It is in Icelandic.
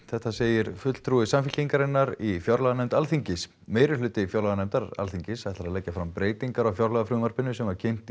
þetta segir fulltrúi Samfylkingar í fjárlaganefnd Alþingis meirihluti fjárlaganefndar Alþingis ætlar að leggja fram breytingar á fjárlagafrumvarpinu sem kynnt